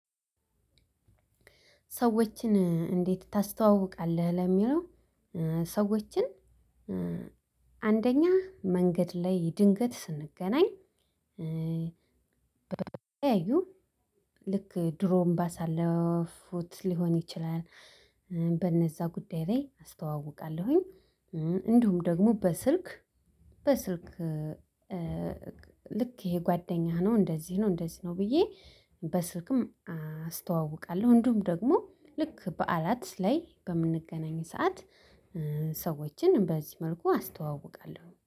ሰዎችን እንዴት ታስተዋውቃለህ ለሚለው? ሰዎችን አንደኛ መንገድ ላይ ድንገት ስንገናኝ። በተለያዩ ልክ ድሮም ባሳለፍኩት ሊሆን ይችላል በነዛ ጉዳይ ላይ አስተዋውቃለሁኝ። እንዲሁም ደግሞ በስልክ በስልክ ልክ ይሄ ጓደኛህ ነው እንደዚህ ነው እንደዚህ ነው ብዬ በስልክም አስተዋውቃለሁ። እንዲሁም ደግሞ ልክ በዓላት ላይ በምንገናኝ ሰዓት ሰዎችን በዚህ መልኩ አስተዋውቃለሁ